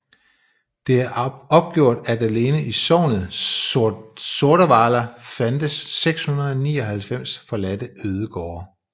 Det er opgjort at alene i sognet Sordavala fandtes 699 forladte ødegårde